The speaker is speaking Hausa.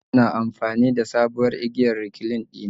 Najib na amfani da da sabuwar igiyar recline dina